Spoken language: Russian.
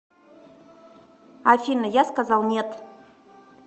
афина я сказал нет